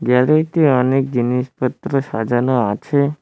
দেওয়ালেতে অনেক জিনিসপত্র সাজানো আছে।